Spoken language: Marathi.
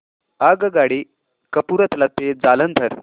आगगाडी कपूरथला ते जालंधर